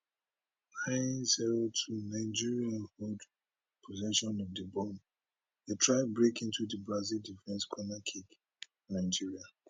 nine zero two nigeria hold possession of di ball dey try break into di brazil defence corner kick nigeria